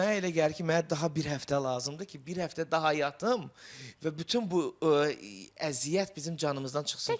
Və mənə elə gəlir ki, mənə daha bir həftə lazımdır ki, bir həftə daha yatım və bütün bu əziyyət bizim canımızdan çıxsın.